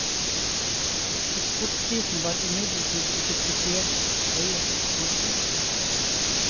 Eksportprisene var imidlertid ikke spesielt høye. punktum